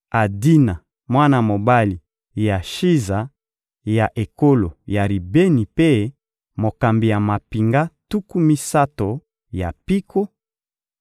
Adina, mwana mobali ya Shiza ya ekolo ya Ribeni mpe mokambi ya mampinga tuku misato ya mpiko;